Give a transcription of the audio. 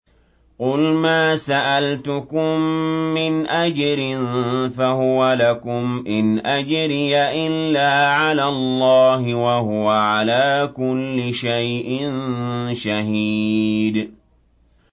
قُلْ مَا سَأَلْتُكُم مِّنْ أَجْرٍ فَهُوَ لَكُمْ ۖ إِنْ أَجْرِيَ إِلَّا عَلَى اللَّهِ ۖ وَهُوَ عَلَىٰ كُلِّ شَيْءٍ شَهِيدٌ